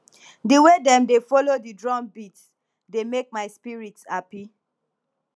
di way dem dey folo di drum beat dey make my spirit hapi